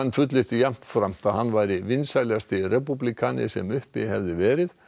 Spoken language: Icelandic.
að hann væri vinsælasti repúblikani sem uppi hefði verið og að öðrum